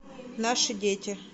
наши дети